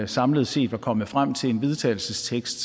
samlet set var kommet frem til en vedtagelsestekst